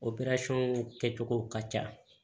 kɛcogo ka ca